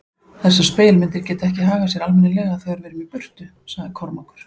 Þessar spegilmyndir geta ekki hagað sér almennilega þegar við erum í burtu, sagði Kormákur.